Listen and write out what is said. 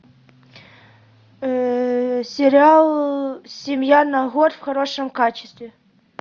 сериал семья на год в хорошем качестве